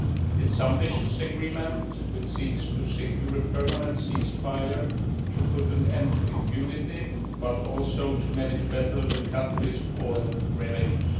It is an ambitious agreement which seeks to secure a permanent ceasefire and to put an end to impunity but also to manage better the country's oil revenues.